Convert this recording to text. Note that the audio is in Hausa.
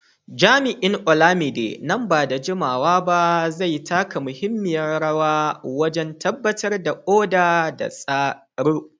Jami’in Olamide, nan ba da jimawa ba zai taka muhimmiyar rawa wajen tabbatar da oda da tsaro.